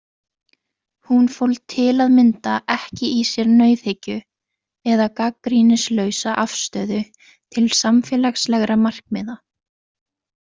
Hún fól til að mynda ekki í sér nauðhyggju eða gagnrýnislausa afstöðu til samfélagslegra markmiða.